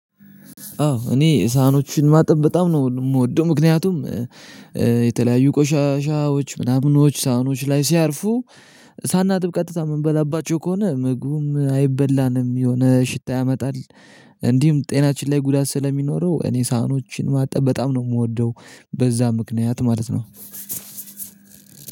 አዎ እኔ ሳህኖችን ማጠብ በጣም ነው የምወደው። ምክንያቱም የተለያዩ ቆሻሻዎች ምናምኖች ሳህኖች ላይ ሲያርፉ ሳናጥብ ቀጥታ የምንበላባቸው ከሆነ ምግቡም አይበላንም የሆነ ሽታ ያመጣል። እንዲሁም ጤናችን ላይ ጉዳት ስለሚኖረው እኔ ሳህኖችን ማጠብ በጣም ነው የምወደው። በዛ ምክንያት ማለት ነው።